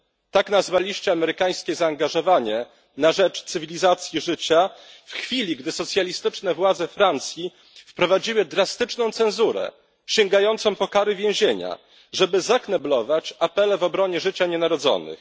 Tak nazwaliście amerykańskie zaangażowanie na rzecz cywilizacji życia, w chwili gdy socjalistyczne władze Francji wprowadziły drastyczną cenzurę sięgającą po kary więzienia, żeby zakneblować apele w obronie życia nienarodzonych.